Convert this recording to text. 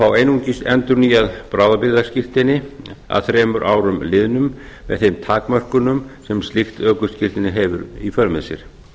fá einungis endurnýjað bráðabirgðaskírteini að þremur árum liðnum með þeim takmörkunum sem slíkt ökuskírteini hefur í för með sér